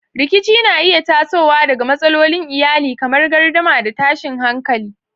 Rikici na iya tasowa daga matsalolin iyali kamar gardama da tashin hankali.